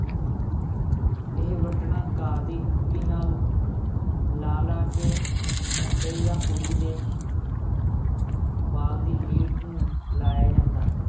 ਇਹ ਵੱਟਣਾ ਘਾਹ ਦੀ ਬੂਟੀ ਨਾਲ ਲਾ ਲਾ ਕੇ ਮੁੰਡੇ ਜਾਂ ਕੁੜੀ ਦੇ ਵਾਲ ਦੀ ਲੀਟ ਨੂੰ ਲਾਇਆ ਜਾਂਦਾ।